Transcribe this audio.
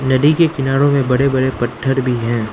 नदी के किनारो में बड़े बड़े पत्थर भी हैं।